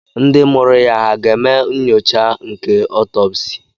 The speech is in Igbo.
Ndị mụrụ ya hà ga-eme nyocha nke otopsi?